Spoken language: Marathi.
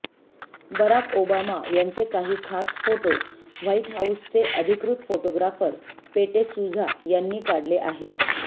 बराक ओबामा यांचे काही खास फोटो व्हाइट हाऊसचे अधिकृत फोटोग्राफर पेटे सुझा यांनी काढले आहेत